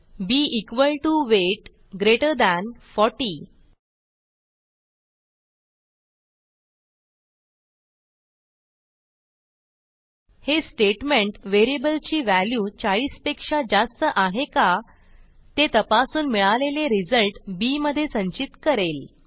बी equal T O weight greater than 40 हे statement व्हेरिएबलची value 40 पेक्षा जास्त आहे का ते तपासून मिळालेला रिझल्ट बी मधे संचित करेल